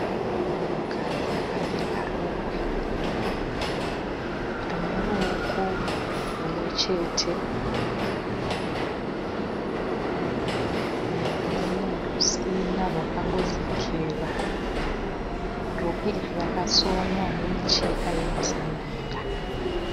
Munhukadzi akapfeka rokwe rine ruoko rumwe chete nerumwe rusina rakangodzikira. Rokwe iri rakasonwa nemicheka yemazambia.